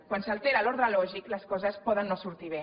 quan s’altera l’ordre lògic les coses poden no sortir bé